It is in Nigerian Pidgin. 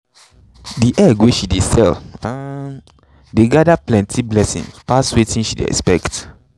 the egg wey she um dey sell gather plenty blessings pass wetin she dey expect.